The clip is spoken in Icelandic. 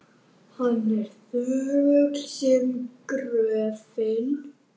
Hann er þögull sem gröfin.